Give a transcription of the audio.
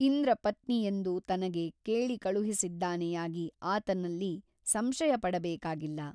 ಇಂದ್ರಪತ್ನಿಯೆಂದು ತನಗೆ ಕೇಳಿಕಳುಹಿಸಿದ್ದಾನೆಯಾಗಿ ಆತನಲ್ಲಿ ಸಂಶಯಪಡಬೇಕಾಗಿಲ್ಲ.